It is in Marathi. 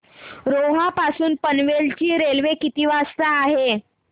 रोहा पासून पनवेल ची रेल्वे किती वाजता आहे